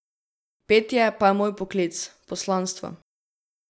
Petje pa je moj poklic, poslanstvo.